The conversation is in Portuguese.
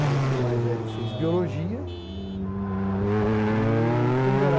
O meu filho mais velho fez biologia, né e quando era